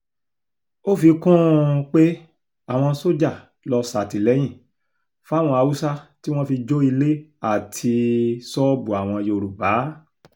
ó fi kún un um pé àwọn sójà lọ ṣàtìlẹ́yìn fáwọn haúsá tí wọ́n fi jó ilé àti um ṣọ́ọ̀bù àwọn yorùbá